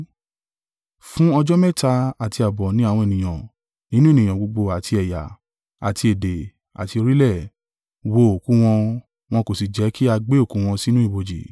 Fún ọjọ́ mẹ́ta àti ààbọ̀ ni àwọn ènìyàn nínú ènìyàn gbogbo àti ẹ̀yà, àti èdè, àti orílẹ̀, wo òkú wọn, wọn kò si jẹ kì a gbé òkú wọn sínú ibojì.